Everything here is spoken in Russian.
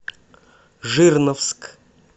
жирновск